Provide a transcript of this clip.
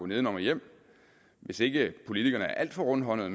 nedenom og hjem hvis ikke politikerne er alt for rundhåndede